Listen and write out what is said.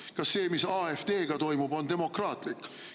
Või kas see, mis AfD‑ga toimub, on demokraatlik?